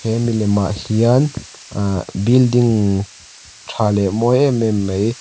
he milemah hian ah building tha leh mawi em em mei --